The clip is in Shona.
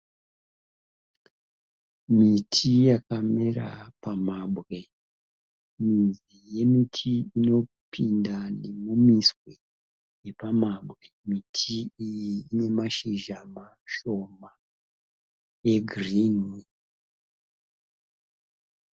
Miti yakamera pambwe. Midzi yemiti inopinda nemimitswe yepamabwe. Miti iyi inemashizha mashoma egirinhi.